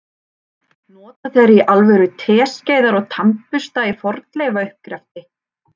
Nota þeir í alvöru teskeiðar og tannbursta í fornleifauppgreftri?